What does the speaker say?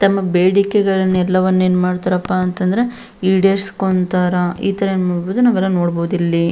ತಮ್ಮ ಬೇಡಿಕೆಗಳನ್ನ ಎಲ್ಲವನ್ನ ಏನ್ಮಾಡ್ತಾರಪ್ಪ ಅಂತಂದ್ರ ಈಡೇರಿಸ್ಕೊಂತರ ಇತರ ಏನ್ ಮಾಡಬಹುದು ನಾವೆಲ್ಲ ನೋಡಬಹುದು ಇಲ್ಲಿ.